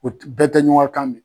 bɛɛ tɛ ɲɔgɔn ka kan mɛn.